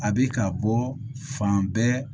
A bɛ ka bɔ fan bɛɛ